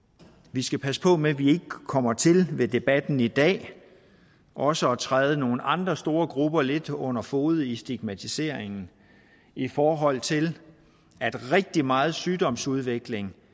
vi skal passe på med at vi ikke kommer til med debatten i dag også at træde nogle andre store grupper lidt under fode i stigmatiseringen i forhold til at rigtig meget sygdomsudvikling